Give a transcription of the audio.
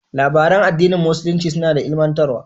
Labaran addinin musulunci suna ilimantarwa.